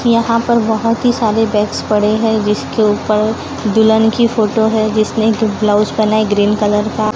यहां पर बहोत ही सारे बैग्स पड़े हैं जिसके ऊपर दुल्हन की फोटो है जिसने एक ब्लाउज पेहेना है ग्रीन कलर का।